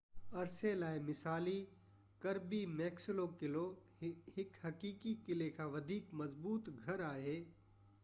عرصي لاءِ مثالي ڪربي ميڪسلو قلعو هڪ حقيقي قلعي کان وڌيڪ مضبوط گهر آهي